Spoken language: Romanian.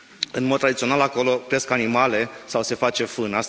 În mod tradițional, acolo cresc animale sau se face fân.